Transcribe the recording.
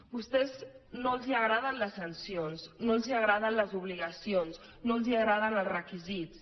a vostès no els agraden les sancions no els agraden les obligacions no els agraden els requisits